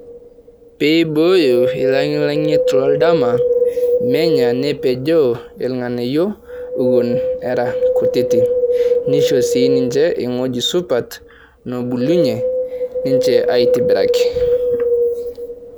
Pee ebooyo ilang'lang'ny'et to eldama nenyaa nepejoo illng'anayo eiwuon era nkutiti. Neshoo si ninche ng'oji supaat nobulunye ninche aitobiraki.